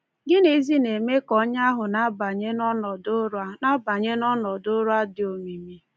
Gịnịzi na-eme ka onye ahụ na-abanye n’ọnọdụ ụra na-abanye n’ọnọdụ ụra dị omimi?